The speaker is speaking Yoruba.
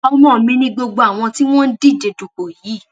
ọmọ mi ni gbogbo àwọn tí wọn ń díje dupò yìí